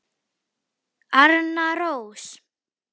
Arna Rós.